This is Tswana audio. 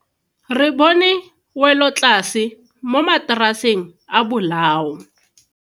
Re bone welotlase mo mataraseng a bolao.